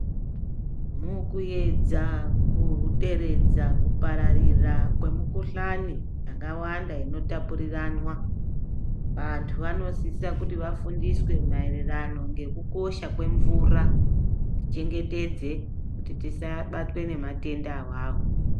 Mukuedza kuderedza kupararira kwemukuhlani yakawanda inota purirwana vantu vanosisa kuti vafundiswe mairirano ngekukosha kwe mvura tichengetedze kuti tisabatwe nematenda awawo.